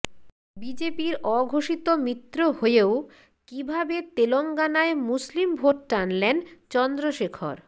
বিজেপির অঘোষিত মিত্র হয়েও কীভাবে তেলঙ্গানায় মুসলিম ভোট টানলেন চন্দ্রশেখর